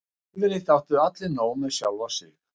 Yfirleitt áttu allir nóg með sjálfa sig.